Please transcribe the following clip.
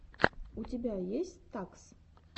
у тебя есть стакс